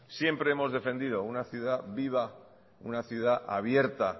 siempre hemos defendido una ciudad viva una ciudad abierta